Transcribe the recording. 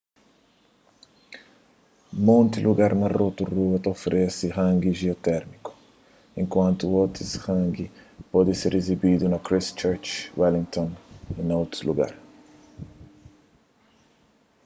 monti lugar na rotorua ta oferese hangi jiotérmiku enkuantu otus hangi pode ser izibidu na christchurch wellington y na otus lugar